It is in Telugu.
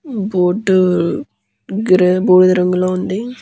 ఉమ్ బోర్డు గ్రెయ్ బూడిద రంగులో వుంది.